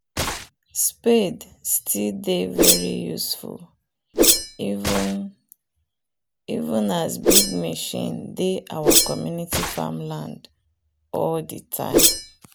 spade still dey very useful even even as big machine dey our community farmland all the time